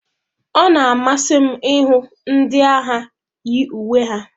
Ọ na-amasị m ịhụ ndị agha yi uwe ha.